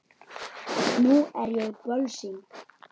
Nú er ég bölsýn.